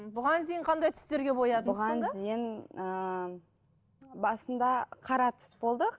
бұған дейін қандай түстерге бұған дейін ы басында қара түс болды